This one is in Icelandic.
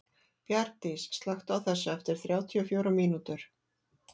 Bjargdís, slökktu á þessu eftir þrjátíu og fjórar mínútur.